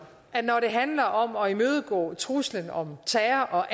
at når det handler om at imødegå truslen om terror og